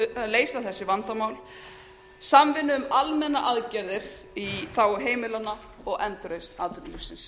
að leysa þessi vandamál samvinnu um almennar aðgerðir í þágu heimilanna og endurreisn atvinnulífsins